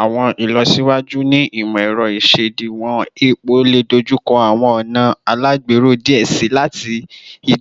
Awọn ilọsiwaju iwaju ni imọ-ẹrọ isediwon epo le dojukọ awọn ọna alagbero diẹ sii lati